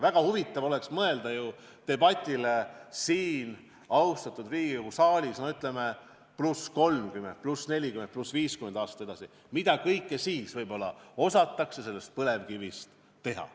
Väga huvitav oleks mõelda debatile siin, austatud Riigikogu saalis, ütleme, 30, 40 või 50 aastat edasi, et mida kõike siis võib-olla osatakse põlevkivist teha.